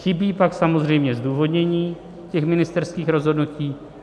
Chybí pak samozřejmě zdůvodnění těch ministerských rozhodnutí.